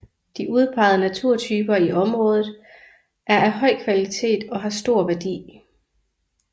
De udpegede naturtyper i området er af høj kvalitet og har stor værdi